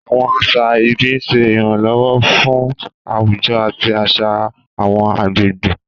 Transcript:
Àwọn àṣà ìbí ń ṣe ìrànlọ́wọ́ fún àwùjọ àti àṣà àwọn agbègbè.